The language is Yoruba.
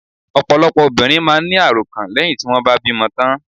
Ọ̀pọ̀lọpọ̀ obìnrin máà ń ní àròkàn lẹ́hìn tí wọ́n bá bímọ tán.